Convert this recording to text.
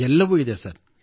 ಎಲ್ಲವೂ ಇದೆ ಸರ್